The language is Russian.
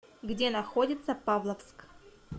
где находится павловск